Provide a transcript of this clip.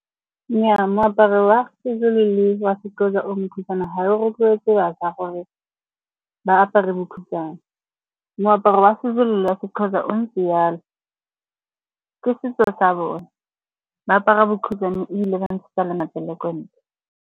Nnyaa, moaparo wa Sezulu le wa Sexhosa o mokhutswane ga o rotloetse bašwa gore ba apare bokhutshwane. Moaparo wa Sezulu le wa Sexhosa o ntse jalo, ke setso sa bone. Ba apara bokhutswane ebile ba ntshetsa le matsele ko ntle.